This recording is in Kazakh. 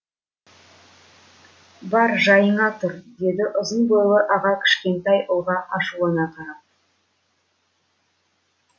бар жайыңа тұр деді ұзын бойлы аға кішкентай ұлға ашулана қарап